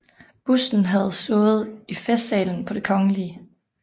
Busten havde stået i Festsalen på Det Kgl